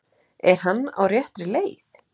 Er hann á réttri leið?